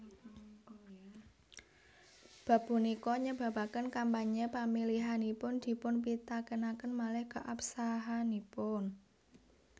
Bab punika nyebabaken kampanye pamilihanipun dipunpitakenaken malih keabsahanipun